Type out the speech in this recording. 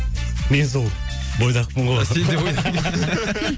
мен сол бойдақпын ғой сен де